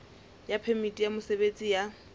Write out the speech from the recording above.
ya phemiti ya mosebetsi ya